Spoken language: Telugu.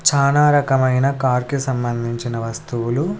చానా రకమైన కార్ కి సంబంధించిన వస్తువులు.